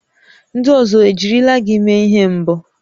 Ndị ọzọ ejirila gị mee ihe mbụ?